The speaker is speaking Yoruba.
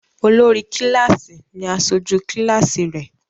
Olórí kíláásì ní aṣojú kíláásì rẹ̀.